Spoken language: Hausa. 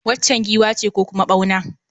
Waccan giwa ce ko kuma ɓauna?